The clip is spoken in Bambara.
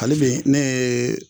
Ali bi ne yee